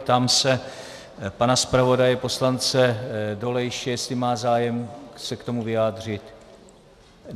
Ptám se pana zpravodaje poslance Dolejšího, jestli má zájem se k tomu vyjádřit.